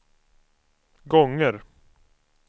gånger